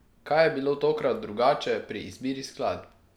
Kaj je bilo tokrat drugače pri izbiri skladb?